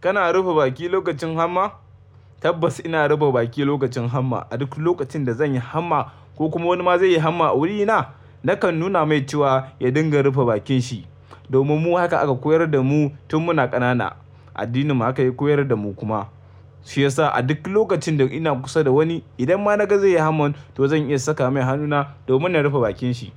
Kana rufe baki lokacin hamma? Tabbas ina rufe baki lokacin hamma. A duk lokacin da zan yi hamma ko kuma wani ma zai yi hamma a wurina, nakan nuna mai cewa ya dinga rufe bakin shi. Domin mu haka aka koyar da mu tun muna ƙanana. Addininmu haka ya koyar da mu kuma. Shi yasa a duk lokacin da ina kusa da wani, idan ma na ga zai yi hamma, to zan iya saka mai hannuna domin na rufe bakin shi.